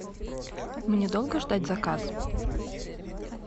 мне долго ждать заказ